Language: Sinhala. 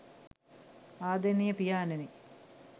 ආදරණීය පියාණෙනි